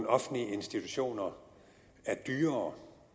offentlige institutioner er dyrere